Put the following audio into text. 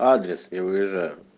адрес я выезжаю